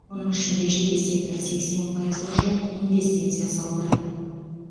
оның ішінде жеке сектор сексен пайызға жуық инвестиция салды